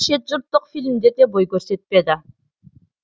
шетжұрттық фильмдер де бой көрсетпеді